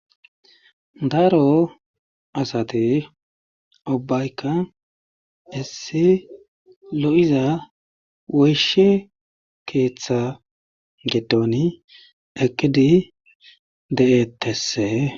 Daro asate obayka issi lo7iza woyshe keeththe getoni ekidi de7etesse